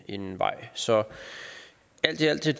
en vej så alt i alt er